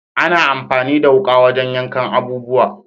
Ana amfani da wuka wajen yankan abubuwa.